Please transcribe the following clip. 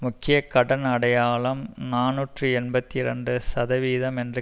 முக்கிய கடன் அடையாளம் நாநூற்றி எண்பத்தி இரண்டு சதவிகிதம் என்று